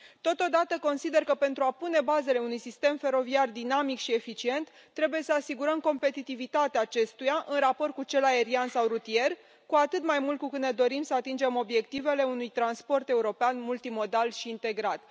Totodată, consider că, pentru a pune bazele unui sistem feroviar dinamic și eficient, trebuie să asigurăm competitivitatea acestuia în raport cu cel aerian sau rutier, cu atât mai mult cu cât ne dorim să atingem obiectivele unui transport european multimodal și integrat.